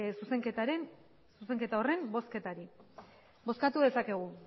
zuzenketa horren bozketari bozkatu dezakegu